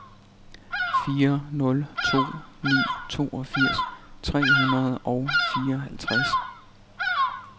fire nul to ni toogfirs tre hundrede og fireoghalvtreds